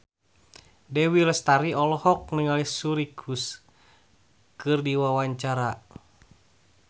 Dewi Lestari olohok ningali Suri Cruise keur diwawancara